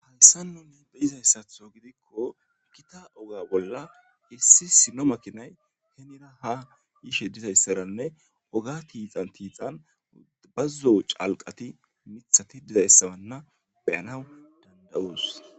Halsanonne beyizayssatho gidikko kita oga bolla issi sino makinay henida ha yishe dizayssaranne oga tiixan tiixan udbazzo calqati mithati dizayssabanna beyanaw danda'oos.